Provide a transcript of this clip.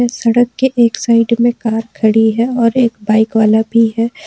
सड़क के एक साइड में कार खड़ी है और एक बाइक वाला भी है।